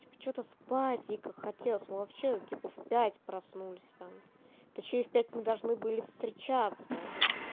типа что-то спать хотелось вообще типа в пять проснулись там точнее в пять мы должны были встречаться